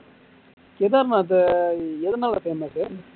கேதார்நாத் எதுனால famous